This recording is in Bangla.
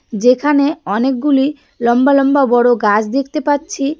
যেখানে অনেকগুলি লম্বা লম্বা বড় গাছ দেখতে পাচ্ছি.